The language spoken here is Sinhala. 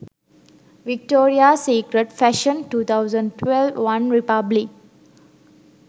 victorias secret fashion 2012 one republic